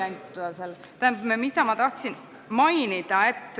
Tähendab, ma tahan õigusliku siduvuse kohta üht küll mainida.